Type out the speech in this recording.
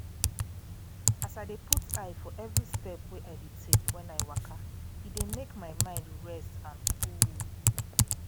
as i dey put eye for every step wey i dey take when i waka e dey make my mind rest and cool